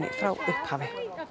frá upphafi